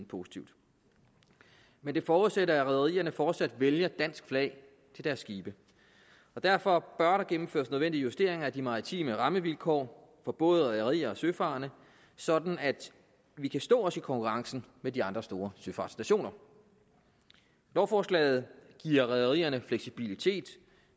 positivt men det forudsætter at rederierne fortsat vælger dansk flag til deres skibe og derfor bør der gennemføres nogle nødvendige justeringer af de maritime rammevilkår for både rederier og søfarende sådan at vi kan stå os i konkurrencen med de andre store søfartsnationer lovforslaget giver rederierne fleksibilitet